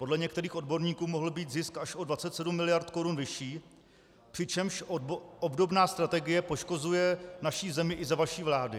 Podle některých odborníků mohl být zisk až o 27 mld. korun vyšší, přičemž obdobná strategie poškozuje naši zemi i za vaší vlády.